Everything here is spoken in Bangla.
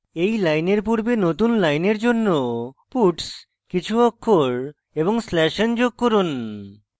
এই লাইনের পূর্বে নতুন লাইনের জন্য puts কিছু অক্ষর এবং slash n যোগ করুন